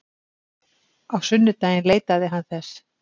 Á sunnudaginn leitaði hann þess.